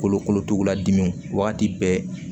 Kolokolotugula dimiw wagati bɛɛ